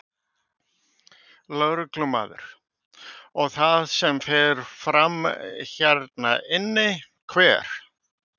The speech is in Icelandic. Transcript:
Lögreglumaður: Og það sem fer fram hérna inni, hver?